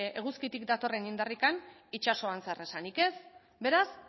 eguzkitik datorren indarrik itsasoan zer esanik ez beraz